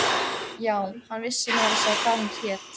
Já, hann vissi meira að segja hvað hún hét.